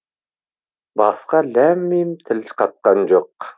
басқа ләм мим тіл қатқан жоқ